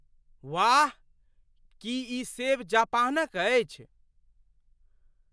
वाह! की ई सेब जापानक अछि?